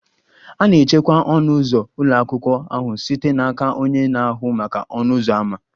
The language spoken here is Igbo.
A na-echekwa ọnụ ụzọ ụlọ akwụkwọ ahụ site n'aka onye na-ahụ maka ọnụ ụzọ ámá.